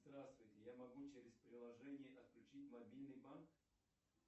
здравствуйте я могу через приложение отключить мобильный банк